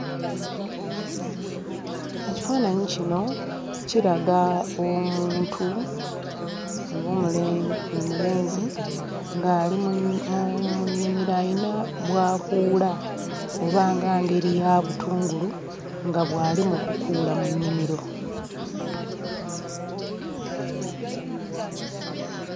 Ekifaananyi kino kiraga omuntu oba omule omulenzi ng'ali ali mu mu mu mu nnimiro ayina bw'akuula oba nga ngeri ya butungulu nga bw'ali mu kukuula mu nnimiro.